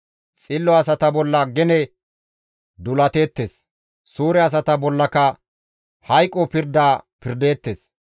Xillo asata bolla gene duulateettes; suure asata bollaka hayqo pirda pirdeettes.